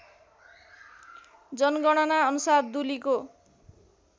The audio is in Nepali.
जनगणना अनुसार दुलीको